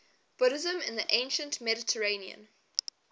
buddhism in the ancient mediterranean